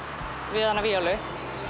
við hana víólu